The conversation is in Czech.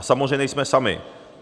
A samozřejmě nejsme sami.